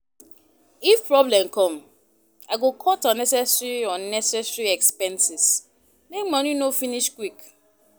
If problem come, I go cut unnecessary unnecessary expenses make money no finish quick.